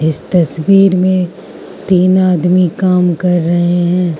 इस तस्वीर में तीन आदमी काम कर रहे हैं।